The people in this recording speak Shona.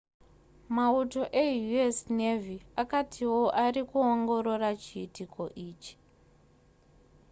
mauto eu.s. navy akatiwo ari kuongorora chiitiko ichi